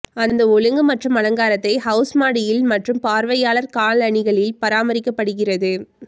அந்த ஒழுங்கு மற்றும் அலங்காரத்தை ஹவுஸ் மாடியில் மற்றும் பார்வையாளர் காலணிகளில் பராமரிக்கப்படுகிறது